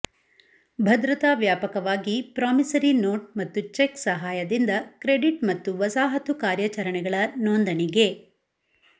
ಭದ್ರತಾ ವ್ಯಾಪಕವಾಗಿ promissory note ಮತ್ತು ಚೆಕ್ ಸಹಾಯದಿಂದ ಕ್ರೆಡಿಟ್ ಮತ್ತು ವಸಾಹತು ಕಾರ್ಯಾಚರಣೆಗಳ ನೋಂದಣಿಗೆ